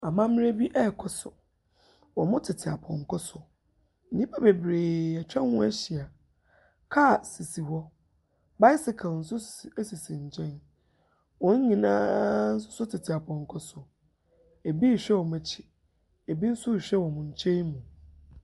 Amammerɛ bi rekɔ so. Wɔtete apɔnkɔ so. Nnipa bebree atwa hɔ ahyia. car hɔ. Bicycle nso si sisi nkyɛn. Wɔn nyina nso so tete apɔnkɔ so. Ɛbi rehwɛ wɔn akyi. Ɛbi nso rehwɛ wɔn kyɛn mu.